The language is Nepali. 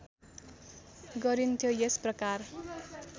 गरिन्थ्यो यस प्रकार